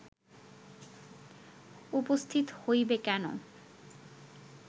উপস্থিত হইবে কেন